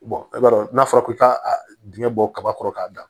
i b'a dɔn n'a fɔra ko ka a dingɛ bɔ kaba kɔrɔ k'a dan